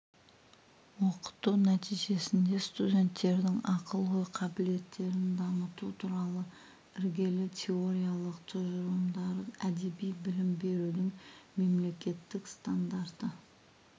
оқыту нәтижесінде студенттердің ақыл-ой қабілеттерін дамыту туралы іргелі теориялық тұжырымдары әдеби білім берудің мемлекеттік стандарты